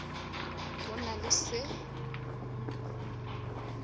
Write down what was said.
go sa na le se